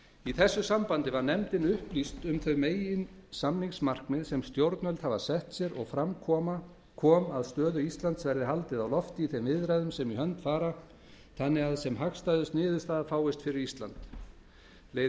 í þessu sambandi var nefndin upplýst um þau meginsamningsmarkmið sem stjórnvöld hafa sett sér og fram kom að stöðu íslands verði haldið á lofti í þeim viðræðum sem í hönd fara þannig að sem hagstæðust niðurstaða fáist fyrir ísland leiði